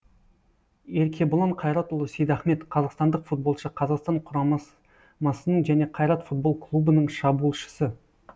еркебұлан қайратұлы сейдахмет қазақстандық футболшы қазақстан құрамасының және қайрат футбол клубының шабуылшысы